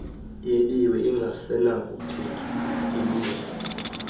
yebiwe ingasenakuphinda ilungele